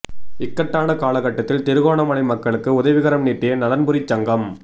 இக்கட்டான காலகட்டத்தில் திருகோணமலை மக்களுக்கு உதவிக்கரம் நீட்டிய நலன்புரிச் சங்கம்